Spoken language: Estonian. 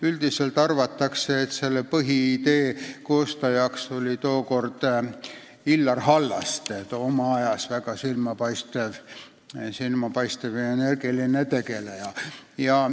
Üldiselt arvatakse, et valimissüsteemi põhiidee autor oli tookord Illar Hallaste, oma ajas väga silmapaistev ja energiline riigitegelane.